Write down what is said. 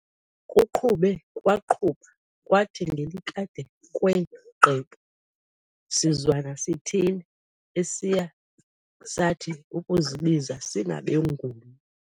Kuqhube kwaqhuba, kwathi ngelikade kwee qebu sizwana sithile, esiye sathi ukuzibiza singabenguni.